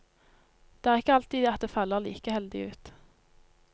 Det er ikke alltid at det faller like heldig ut.